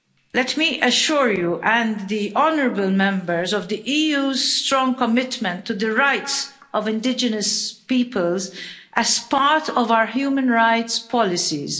Let me assure you and the honourable Members of the EU's strong commitment to the rights of indigenous peoples as part of our human rights policies.